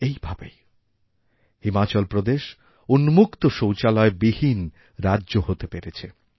এইভাবেই হিমাচল প্রদেশ উন্মুক্ত শৌচালয় বিহীন রাজ্য হতেপেরেছে